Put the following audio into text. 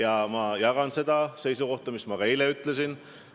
Aga ma olen samal seisukohal, mis ma ka eile ütlesin.